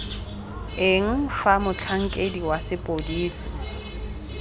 eng fa motlhankedi wa sepodisi